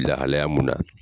Lahalaya mun na.